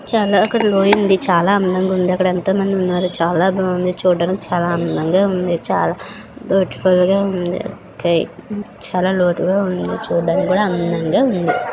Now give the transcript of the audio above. చాల అక్కడ లోయుంది. చాలా అందంగుంది. అక్కడ ఎంతో మంది ఉన్నారు. చాలా బాఉంది. చూడ్డానికి చాలా అందంగా ఉంది. చాలా బ్యూటీఫుల్ గా ఉంది ఒకే చాలా లోతుగా ఉంది. చూడ్డానికి కూడా అందంగా ఉంది.